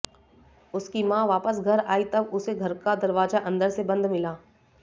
उसकी मां वापस घर आई तब उसे घर का दरवाजा अंदर से बंद मिला